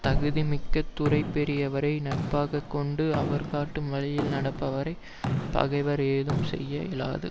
தகுதி மிக்க துறை பெரியவரை நட்பாக கொண்டு அவர் காட்டும் வழியில் நடப்பவரை பகைவர் ஏதும் செய்ய இயலாது